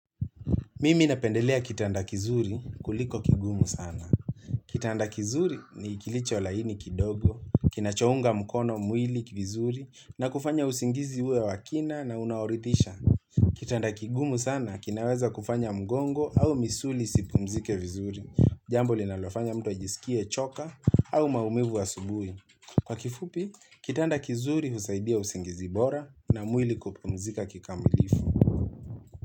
Mimi napendelea kitanda kizuri kuliko kigumu sana. Kitanda kizuri ni kilicho laini kidogo, kina chonga mkono mwili vizuri na kufanya usingizi uwe wa kina na unaoritisha. Kitanda kigumu sana kinaweza kufanya mgongo au misuli isipumzike vizuri. Jambo linalofanya mtu ajisikie choka au maumivu wa asubui. Kwa kifupi, kitanda kizuri usaidia usingizi bora na mwili kupumzika kikamilifu.